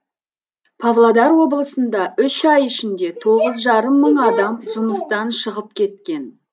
павлодар облысында үш ай ішінде тоғыз жарым мың адам жұмыстан шығып кеткен